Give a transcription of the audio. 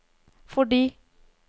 fordi